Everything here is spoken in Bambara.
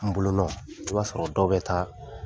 N bolonɔ i b'a sɔrɔ dɔ bɛ taa,